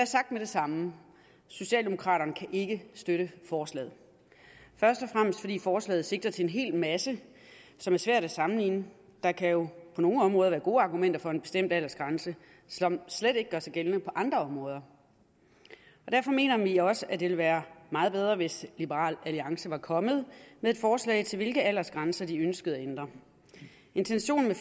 sagt med det samme socialdemokraterne kan ikke støtte forslaget først og fremmest fordi forslaget sigter til en hel masse som er svært at sammenligne der kan jo på nogle områder være gode argumenter for en bestemt aldersgrænse som slet ikke gør sig gældende på andre områder derfor mener vi også at det ville være meget bedre hvis liberal alliance var kommet med et forslag til hvilke aldersgrænser de ønskede at ændre intentionen med